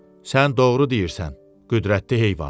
Sən doğru deyirsən, qüdrətli heyvan.